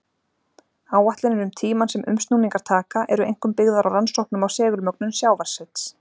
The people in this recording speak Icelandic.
Áætlanir um tímann sem umsnúningar taka, eru einkum byggðar á rannsóknum á segulmögnun sjávarsets.